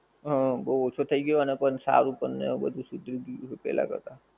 હં બઉ ઓછો થઈ અને પણ સારું પણ ને એવું બધુ સીધું ભી પહેલા કરતાં.